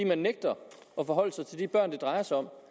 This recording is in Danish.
han nægter at forholde sig til de børn det drejer sig om